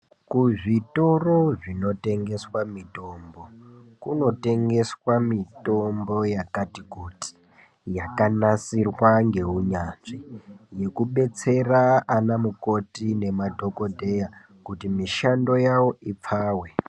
Kuzvitoro zvinotengeswa mitombo, kunotengeswa mitombo yakati kuti, yakanasirwa ngeunyanzvi, zvekubetsera ana mukoti nema dhokodheya kuti mishando yawo ipfawe.